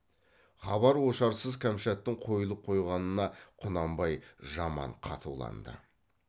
хабар ошарсыз кәмшаттың қойылып қойғанына құнанбай жаман қатуланды